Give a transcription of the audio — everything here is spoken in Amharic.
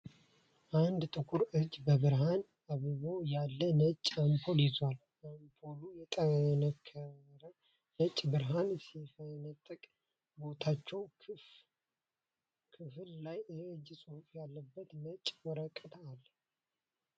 አንድ ጥቁር እጅ በብርሃን አብቦ ያለ ነጭ አምፖል ይዟል። አምፖሉ የጠነከረ ነጭ ብርሃን ሲፈነጥቅ፣ በታችኛው ክፍል ላይ የእጅ ጽሑፍ ያለበት ነጭ ወረቀት አለ።